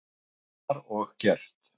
Það var og gert.